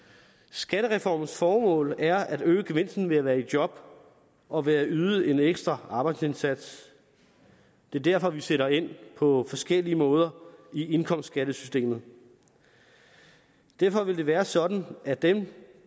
skattereformens formål er at øge gevinsten ved at være i job og ved at yde en ekstra arbejdsindsats det er derfor vi sætter ind på forskellige måder i indkomstskattesystemet derfor vil det være sådan at dem